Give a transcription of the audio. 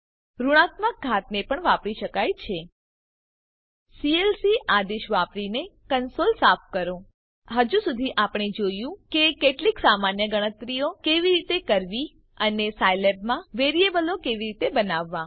ઋણાત્મક ઘાતને પણ વાપરી શકાય છે સીએલસી આદેશ વાપરીને કંસોલ સાફ કરો હજુ સુધી આપણે જોયું કે કેટલીક સામાન્ય ગણતરીઓ કેવી રીતે કરવી અને સાયલેબમાં વેરીએબલો કેવી રીતે બનાવવા